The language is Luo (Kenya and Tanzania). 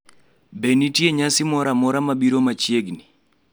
be nitie nyasi moro amora mabiro machiegni